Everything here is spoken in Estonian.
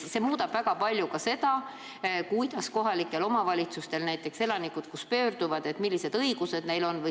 See muudaks kohalikus omavalitsuses väga palju ka seda, et kui näiteks elanikud sinna pöörduvad, siis millised õigused neil on.